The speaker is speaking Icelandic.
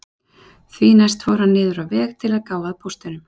Því næst fór hann niður á veg til að gá að póstinum